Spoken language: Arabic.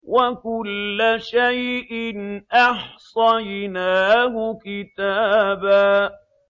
وَكُلَّ شَيْءٍ أَحْصَيْنَاهُ كِتَابًا